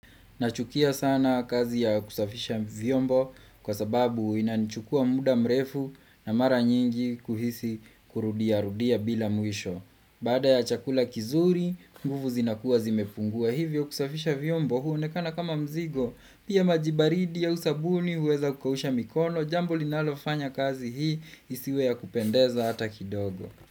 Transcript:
Nachukia sana kazi ya kusafisha vyombo kwa sababu inanichukua mda mrefu na mara nyingi kuhisi kurudia rudia bila mwisho. Baada ya chakula kizuri, nguvu zinakuwa zimefungua. Hivyo kusafisha vyombo huo nekana kama mzigo, pia majibaridi au sabuni uweza kukausha mikono, jambo linalofanya kazi hii, isiwe ya kupendeza hata kidogo.